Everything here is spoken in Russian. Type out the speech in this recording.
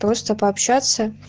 просто пообщаться